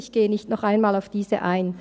auf diese gehe ich nicht noch einmal ein.